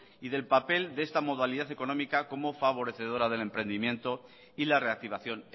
y del papel de esta modalidad económica como favorecedora del emprendimiento y la reactivación